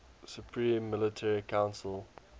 supreme military council